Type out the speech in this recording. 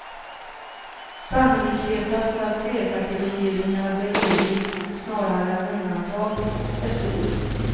Sannolikheten för att flerpartiregeringar blir regel snarare än undantag är stor.